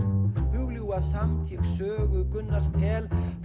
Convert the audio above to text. hugljúfa samt eg sögu Gunnars tel